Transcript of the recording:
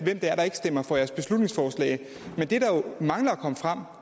er der ikke stemmer for ens beslutningsforslag men det der jo mangler at komme frem